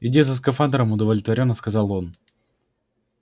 иди за скафандрами удовлетворённо сказал он